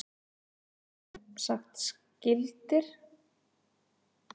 Þeir eru semsagt skyldir og það hefur verið staðfest með erfðafræðilegum rannsóknum.